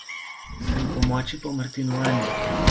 Si opomoči po martinovanju.